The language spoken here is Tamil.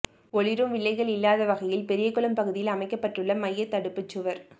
ஓளிரும் வில்லைகள் இல்லாத வகையில் பெரியகுளம் பகுதியில் அமைக்கப்பட்டுள்ள மையத்தடுப்பு சுவா்